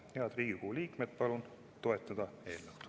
Head Riigikogu liikmed, palun eelnõu toetada!